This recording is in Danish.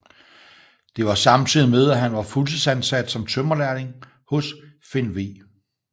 Det var samtidig med at han var fuldtidsansat som tømrerlærling hos Finn V